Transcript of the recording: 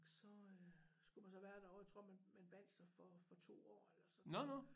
Så øh skulle man så være derovre jeg tror man man bandt sig for for 2 år eller sådan